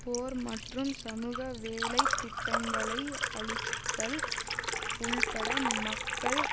போர் மற்றும் சமூகவேலைத் திட்டங்களை அழித்தல் உள்பட மக்கள்